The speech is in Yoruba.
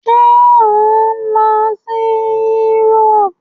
Ṣé ò ń lọ si Egypt?